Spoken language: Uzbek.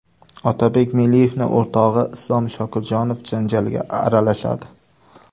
Otabek Meliyevning o‘rtog‘i Islom Shokirjonov janjalga aralashadi.